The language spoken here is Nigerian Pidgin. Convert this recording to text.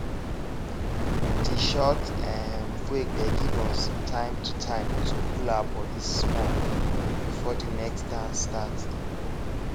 de short um break dey give us time to time to cool our body small before de next dance start